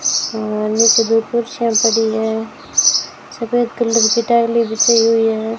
नीचे दो कुर्सियां पड़ी है सफेद कलर की टाइलें बिछाई हुई हैं।